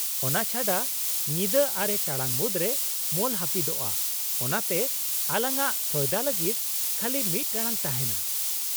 - ᱚᱱᱟ ᱪᱷᱟᱰᱟ, ᱧᱤᱫᱟᱹ ᱟᱨᱮ ᱴᱟᱲᱟᱝ ᱢᱩᱫᱽᱨᱮ ᱢᱚᱞ ᱦᱟᱹᱯᱤᱫᱚᱜᱼᱟ ᱚᱱᱟᱛᱮ ᱟᱞᱟᱝᱟᱜ ᱥᱚᱭᱫᱟ ᱞᱟᱹᱜᱤᱫ ᱠᱷᱟᱞᱤ ᱢᱤᱫ ᱴᱟᱲᱟᱝ ᱛᱟᱦᱮᱱᱟ ᱾